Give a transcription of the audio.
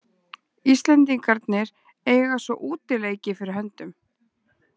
Íslendingarnir eiga svo útileiki fyrir höndum.